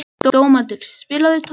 Dómaldur, spilaðu tónlist.